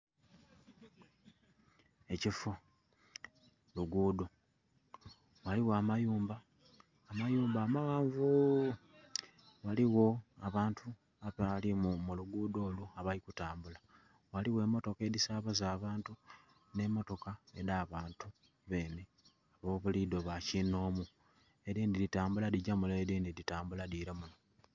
Ekifuu mu lugudho, ghaligho amayumba, amayumba amaghanvuu.. ghaligho abantu abalimu mu lugudho olwo abali kutambula, ghaligho emotoka edhisabaza abantu nhe motoka edha bantu benhe ababulidho bakinhomu, edindhi dhitambula dhila mule edindhi dhila munho